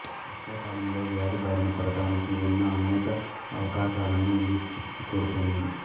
వర్షాకాలంలో వ్యాధి బారిన పడటానికి ఉన్న అనేక అవకాశాలను ఇది తిప్పికొడుతుంది